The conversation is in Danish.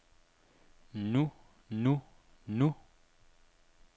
nu nu nu